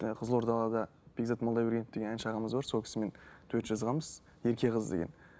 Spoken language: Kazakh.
ы қызылорда да бекзат молдабергенов деген әнші ағамыз бар сол кісімен дуэт жазғанбыз ерке қыз деген